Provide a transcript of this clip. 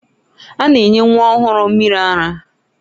A na-enye nwa ọhụrụ mmiri ara.